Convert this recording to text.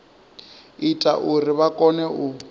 ita uri vha kone u